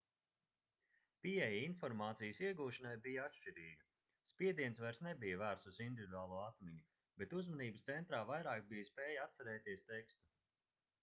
pieeja informācijas iegūšanai bija atšķirīga spiediens vairs nebija vērsts uz individuālo atmiņu bet uzmanības centrā vairāk bija spēja atcerēties tekstu